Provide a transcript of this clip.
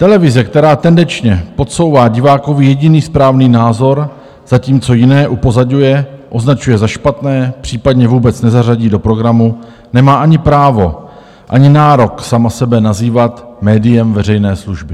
Televize, která tendenčně podsouvá divákovi jediný správný názor, zatímco jiné upozaďuje, označuje za špatné, případně vůbec nezařadí do programu, nemá ani právo, ani nárok sama sebe nazývat médiem veřejné služby.